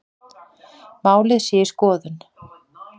Málið sé í skoðun